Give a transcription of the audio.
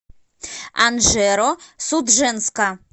анжеро судженска